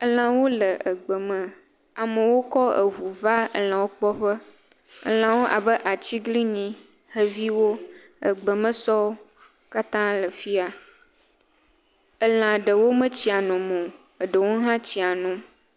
Elãwo le egbeme. Amewo kɔ ŋu va elãwo kpɔ ƒe. Elãwo abe atsiglinyi, xeviwo, egbemesɔwo, katã wole fi ya. Elã ɖewo metsia nom o. Eɖewo hã tsia nom.